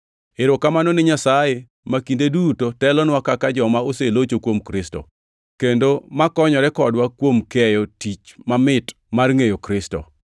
Erokamano ni Nyasaye, ma kinde duto telonwa kaka joma oselocho kuom Kristo, kendo ma konyore kodwa kuom keyo tik mamit mar ngʼeyo Kristo.